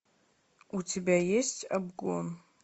у тебя есть обгон